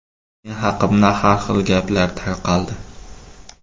Men haqimda har xil gaplar tarqaldi.